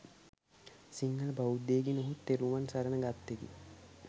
සිංහල බෞද්ධයෙකි නොහොත් තෙරුවන් සරණ ගත්තෙකි.